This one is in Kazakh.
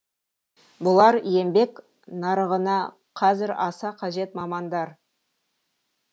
бұлар еңбек нарығына қазір аса қажет мамандар